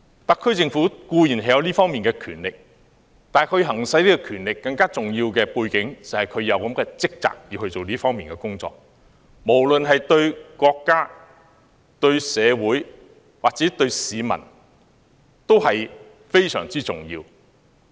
特區政府固然有這方面的權力，但在行使這項權力的同時，也背負着這方面的職責，這對國家、對社會、對市民都非常重要。